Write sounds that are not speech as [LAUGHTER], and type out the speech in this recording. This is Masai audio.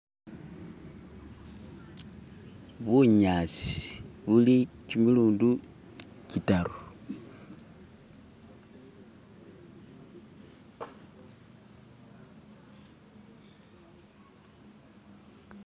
[SKIP] bunyasi buli chimilundi chitaru [SKIP]